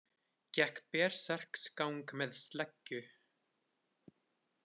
Gekk berserksgang með sleggju